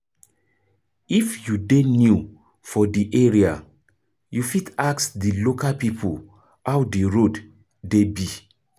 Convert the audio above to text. if you dey new for di area, you fit ask di local pipo how di road dey be